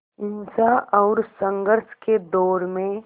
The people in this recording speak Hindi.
हिंसा और संघर्ष के दौर में